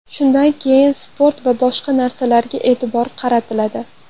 Shundan keyin sport va boshqa narsalarga e’tibor qaratiladi.